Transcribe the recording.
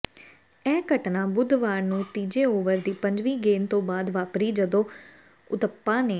ਇਹ ਘਟਨਾ ਬੁੱਧਵਾਰ ਨੂੰ ਤੀਜੇ ਓਵਰ ਦੀ ਪੰਜਵੀਂ ਗੇਂਦ ਤੋਂ ਬਾਅਦ ਵਾਪਰੀ ਜਦੋਂ ਉਥੱਪਾ ਨੇ